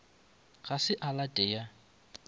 ga se a late ya